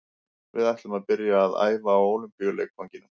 Við ætlum að byrja að æfa á Ólympíuleikvanginum.